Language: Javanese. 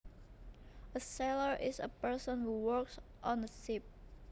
A sailor is a person who works on a ship